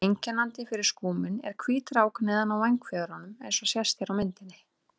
Einkennandi fyrir skúminn er hvít rák neðan á vængfjöðrum eins og sést hér á myndinni.